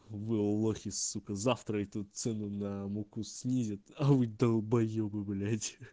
вы лохи сука завтра эту цену на муку снизит а вы долбоёбы блять